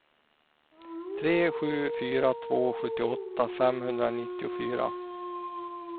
tre sju fyra två sjuttioåtta femhundranittiofyra